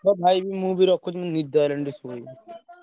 ହଉ ଭାଇ ମୁଁ ବି ରଖୁଛି ନିଦ ମାଡ଼ିଲାଣି ଟିକେ ଶୋଇବି।